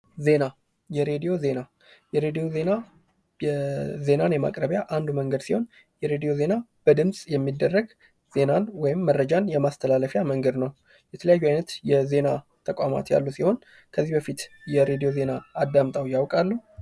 ዜና የሬዲዮ ዜና የሬዲዮ ዜና የዜናን የማቅረቢያ አንዱ መንገድ ሲሆን፤ የሬዲዮ ዜና በድምጽ የሚደረግ ዜናን ወይም መረጃን የማስተላለፊያ መንገድ ነው። የተለያዩ አይነት የዜና ተቋማት ያሉ ሲሆን፤ ከዚህ በፊት የሬዲዮ ዜና አዳምጠው ያውቃሉ?